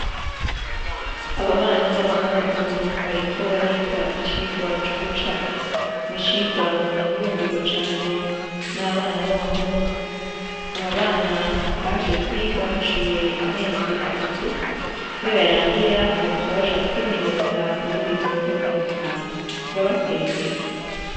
Aba bana b'abahungu bariko bariga icigwa co gucapa, n'icigwa gihurumbirwa cane n'abana b'abahungu, aba bana baje kwiga haciye amezi atatu niyo yarangira bazoca baja kwimenyereza mu bindi bisata bitandukanye, turabateye intege.